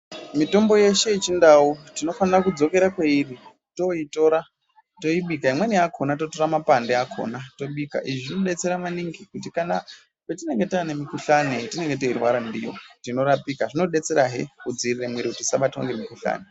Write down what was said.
Mitombo yeshe yechindau tinofana kudzokera kwairi toitora toibika imweni yakona totora makwande akona tobika izvi zvinodetsera maningi kuti Kana tane mikuhlani watinenge teirwara ndiwo tinorapika zvinodetsera hee kudzivirira muviri usabatwe nemikuhlani.